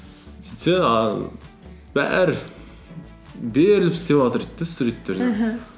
сөйтсе бәрі беріліп істеватыр дейді де